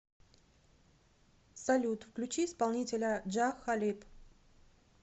салют включи исполнителя джа халиб